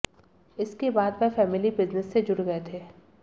इसके बाद वह फैमिली बिजनेस से जुड़ गए थे